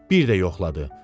Bir də yoxladı.